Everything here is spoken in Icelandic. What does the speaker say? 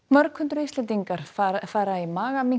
mörg hundruð Íslendingar fara fara í